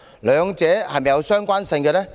兩者是否相關？